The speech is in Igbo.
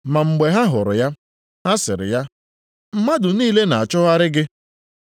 Ma mgbe ha hụrụ ya, ha sịrị ya, “Mmadụ niile na-achọgharị gị!”